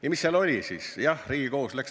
Ja mis seal siis otsustati?